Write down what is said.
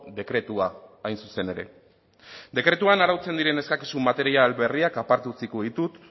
dekretua hain zuzen ere dekretuan arautzen diren eskakizun material berriak aparte utziko ditut